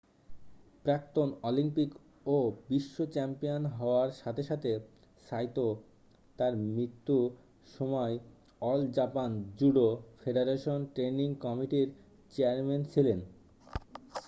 প্রাক্তন অলিম্পিক ও বিশ্ব চ্যাম্পিয়ন হওয়ার সাথে সাথে সাইতো তাঁর মৃত্যু সময় All Japan Judo Federation training কমিটি'র চেয়ারম্যান ছিলেন